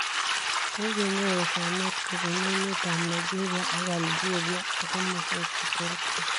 Kogenyoru soomeeet kobun emet ab Nigeria ak Algeria ak komosweek cheterter.